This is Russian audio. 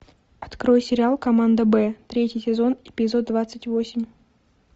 открой сериал команда б третий сезон эпизод двадцать восемь